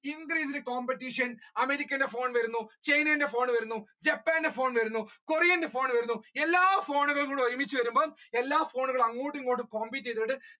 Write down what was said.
due to increased competition അമേരിക്കയുടെ call വരുന്നു ചൈനയുടെ call വരുന്നു ജപ്പാന്റെ ഫോൺ വരുന്നു കൊറിയയുടെ ഫോൺ വരുന്നു എല്ലാ ഫോണുകളും കൂടി ഒരുമിച്ച് വരുമ്പോ എല്ലാ ഫോണുകളും അങ്ങോട്ടും ഇങ്ങോട്ട് compete ചെയ്ത അതായത്